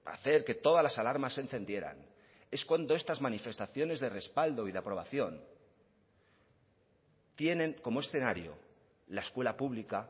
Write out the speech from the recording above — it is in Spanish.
hacer que todas las alarmas se encendieran es cuando estas manifestaciones de respaldo y de aprobación tienen como escenario la escuela pública